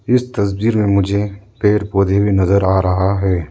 इस तस्वीर में मुझे पेड़ पौधे भी नज़र आ रहा है।